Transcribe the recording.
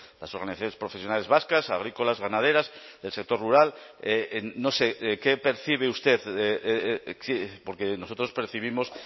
las organizaciones profesionales vascas agrícolas ganaderas del sector rural no sé qué percibe usted porque nosotros percibimos